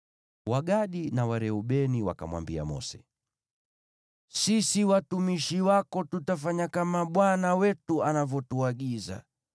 Wagadi na Wareubeni wakamwambia Mose, “Sisi watumishi wako tutafanya kama bwana wetu anavyotuagiza.